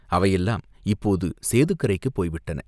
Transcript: அவையெல்லாம் இப்போது சேதுக்கரைக்குப் போய் விட்டன.